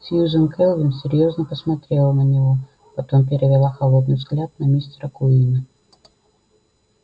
сьюзен кэлвин серьёзно посмотрела на него потом перевела холодный взгляд на мистера куинна